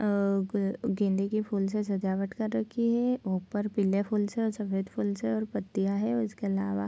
अ गेंदे के फूल से सजावट कर रखी है और ऊपर पीले फूल से और सफ़ेद फूल से और पतियाँ हैं और इसके अलावा --